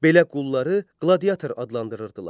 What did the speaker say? Belə qulları qladiatör adlandırırdılar.